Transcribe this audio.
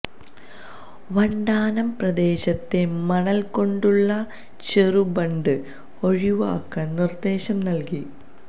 വണ്ടാനം പ്രദേശത്തെ മണല് കൊണ്ടുള്ള ചെറുബണ്ട് ഒഴിവാക്കാന് നിര്ദേശം നല്കി